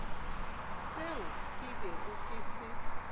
seo ke bego ke se